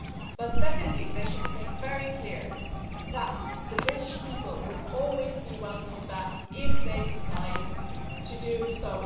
But secondly, they should make very clear that the British people would always be welcome back if they decide to do so